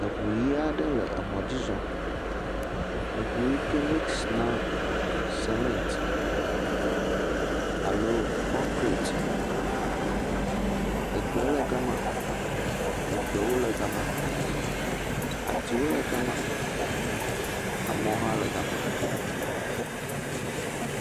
eʋu yi aɖe le emɔ dzi zɔm eʋu yike mix na cement alo kɔnkrit egbe le gamá ekpewo le gama atiwo le gama amewo hã le gama